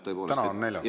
Täna on neljapäev.